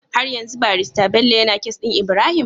Har yanzu barista Bello yAna case din Ibrahim?